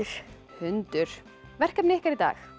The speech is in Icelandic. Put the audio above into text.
hundur verkefnið ykkar í dag